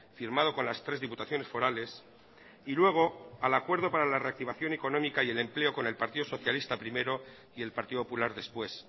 firmado con las tres diputaciones forales y luego al acuerdo para la reactivación económica y el empleo con el partido socialista primero y el partido popular después